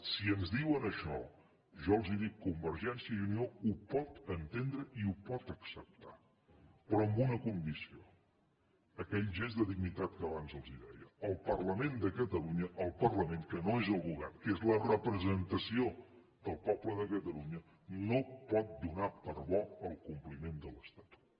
si ens diuen això jo els ho dic convergència i unió ho pot entendre i ho pot acceptar però amb una condició aquell gest de dignitat que abans els deia el parlament de catalunya el parlament que no és el govern que és la representació del poble de catalunya no pot donar per bo el compliment de l’estatut